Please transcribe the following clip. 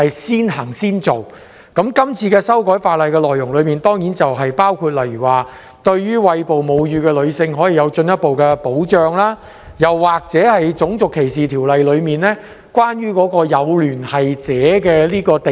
《條例草案》的修訂內容當然包括對餵哺母乳的女性作進一步保障，以及修訂《種族歧視條例》，以保障某人的有聯繫者免受歧視。